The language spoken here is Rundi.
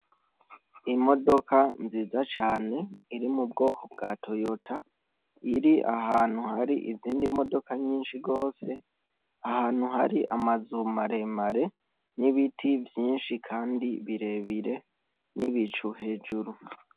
Imodoka nziza cane iri mu bwoko bwa toyota iri ahantu hari izindi modoka nyinshi rwose ahantu hari amazumaremare n'ibiti vyinshi, kandi birebire n'ibicu hejuru.